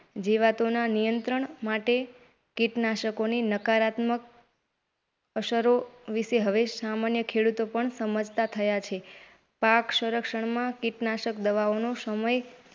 જીવાતોના નિયંત્રણ માટે કિટનાશકોની નકારાત્મક અસરો વિષે હવે સામાન્ય ખેડૂતો પણ સમજતા થયા છે. પાક સંરક્ષણમાં કીટનાશક દવાઓનો સમય,